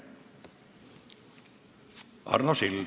Arno Sild.